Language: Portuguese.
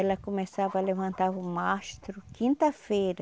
Ela começava, levantava o mastro, quinta-feira.